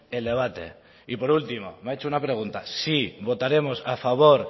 el debate y por último me ha hecho una pregunta sí votaremos a favor